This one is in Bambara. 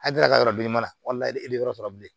Hakili ka yɔrɔ bileman e bɛ yɔrɔ sɔrɔ bilen